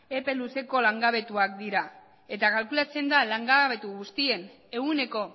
epe luzeko langabetuak dira eta kalkulatzen da langabetu guztien ehuneko